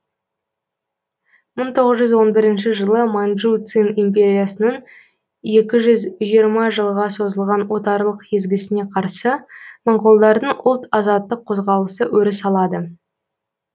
мың тоғыз жүз он бірінші жылы манжу цин империясының екі жүз жиырма жылға созылған отарлық езгісіне қарсы моңғолдардың ұлт азаттық қозғалысы өріс алады